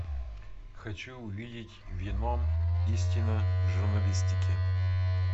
хочу увидеть веном истина в журналистике